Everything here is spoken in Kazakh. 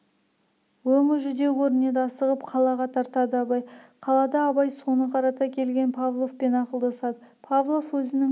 өңі жүдеу көрінеді асығып қалаға тартады абай қалада абай соны қарата келген павловпен ақылдасады павлов өзінің